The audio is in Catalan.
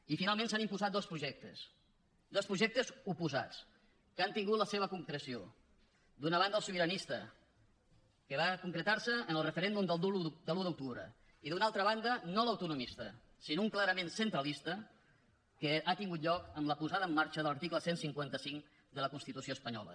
i finalment s’han imposat dos projectes dos projectes oposats que han tingut la seva concreció d’una banda el sobiranista que va concretar se en el referèndum de l’un d’octubre i d’una altra banda no l’autonomista sinó un clarament centralista que ha tingut lloc amb la posada en marxa de l’article cent i cinquanta cinc de la constitució espanyola